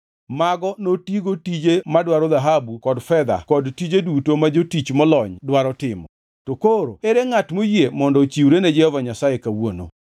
mago notigo tije madwaro dhahabu kod fedha kod tije duto ma jotich molony dwaro timo. To koro ere ngʼat moyie mondo ochiwre ne Jehova Nyasaye kawuono?”